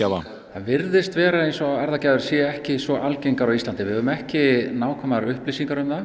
virðist vera eins og séu ekki svo algengar á Íslandi við höfum ekki nákvæmar upplýsingar um það